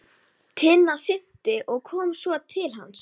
Tinna synti og kom svo til hans.